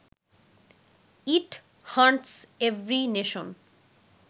it haunts every nation